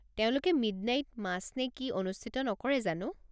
তেওঁলোকে midnight match নে কি অনুষ্ঠিত নকৰে জানো?